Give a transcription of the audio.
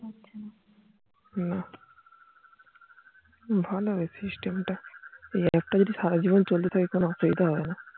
না ভালোই system টা এই একটা যদি আসরে জীবন চলতে থাকে কোনো অসুবিধা হবে না